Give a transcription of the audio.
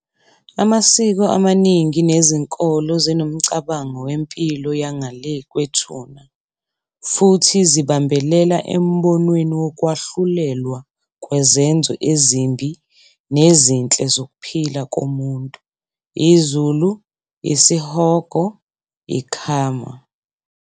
Amasiko amaningi nezinkolo zinomcabango wempilo yangale kwethuna, futhi zibambelela embonweni woKwahlulelwa kwezenzo ezimbi nezinhle zokuphila komuntu, iZulu, isihogo, i-karma.